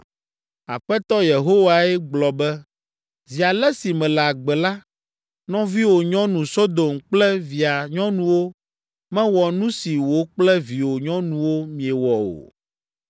Aƒetɔ Yehowae gblɔ be, ‘Zi ale si mele agbe la, nɔviwò nyɔnu Sodom kple via nyɔnuwo mewɔ nu si wò kple viwò nyɔnuwo miewɔ o.’